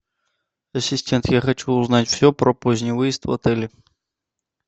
ассистент я хочу узнать все про поздний выезд в отеле